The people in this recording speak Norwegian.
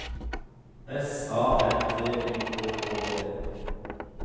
S A M T Y K K E